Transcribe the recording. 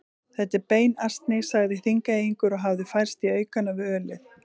Þetta er beinasni, sagði Þingeyingur og hafði færst í aukana við ölið.